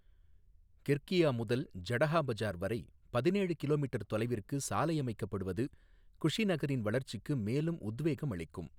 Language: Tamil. கிர்கியா முதல் ஜடஹா பஜார் வரை பதினேழு கிலோ மீட்டர் தொலைவிற்கு சாலை அமைக்கப்படுவது குஷிநகரின் வளர்ச்சிக்கு மேலும் உத்வேகம் அளிக்கும்.